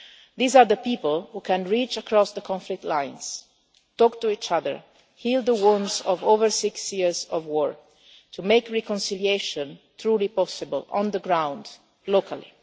so. These are the people who can reach across the conflict lines, talk to each other, heal the wounds of over six years of war, to make reconciliation truly possible on the ground,